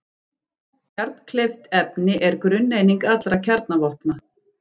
Kjarnkleyft efni er grunneining allra kjarnavopna.